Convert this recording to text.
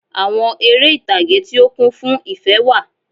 Àwon eré ìtàge tí ó kún fún ìfé wà